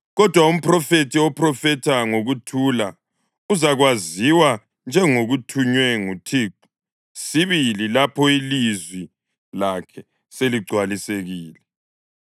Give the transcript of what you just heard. Kodwa umphrofethi ophrofetha ngokuthula uzakwaziwa njengothunywe nguThixo sibili lapho ilizwi lakhe seligcwalisekile.”